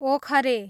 ओखरे